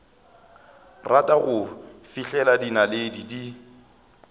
rata go fihlela dinaledi di